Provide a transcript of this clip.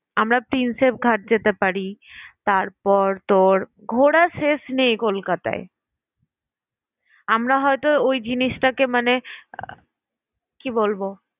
আমরা prinsep ঘাট যেতে পারি। তারপর তোর ঘোরার শেষ নেই কলকাতায়। আমরা হয়তো ওই জিনিসটাকে মানে আহ কি বলবো